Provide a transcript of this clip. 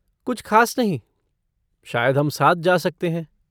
कुछ ख़ास नहीं। शायद हम साथ जा सकते हैं।